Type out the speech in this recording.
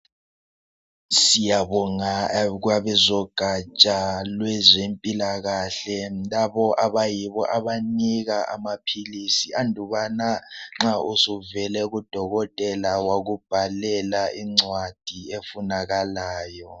Siyabonga kwabo zogatsha lwezempilakahle labo abayibo abanika amaphilisi andubana nxa usuvela kudokotela wakubhalela incwadi efunakalayo.